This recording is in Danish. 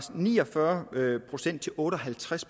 ni og fyrre procent til otte og halvtreds